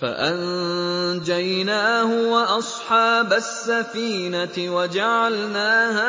فَأَنجَيْنَاهُ وَأَصْحَابَ السَّفِينَةِ وَجَعَلْنَاهَا